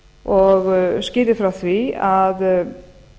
og skýrði frá því að